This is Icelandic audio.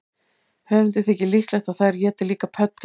Höfundi þykir líklegt að þær éti líka pöddur.